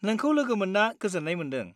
नोंखौ लोगो मोन्ना गोजोन्नाय मोन्दों।